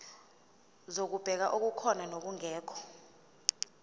zokubheka okukhona nokungekho